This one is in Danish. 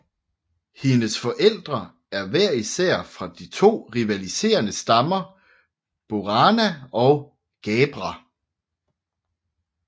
Hendes forældre er hver især fra de to rivaliserende stammer Borana og Gabbra